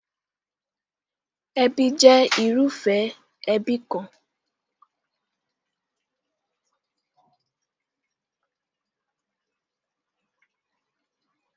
Ẹbí jẹ́ irúfẹ́ ẹbí kan.